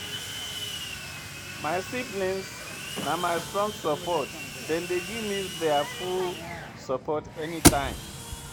My siblings na my strong support, dem dey give me their full support everytime.